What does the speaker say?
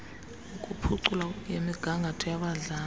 ukuphuculwa kwemigangatho yabadlali